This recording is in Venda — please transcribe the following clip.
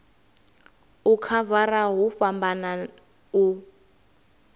u khavara hu fhambana u